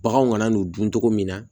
Baganw kana n'u dun togo min na